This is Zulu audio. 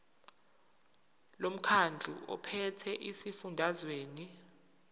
lomkhandlu ophethe esifundazweni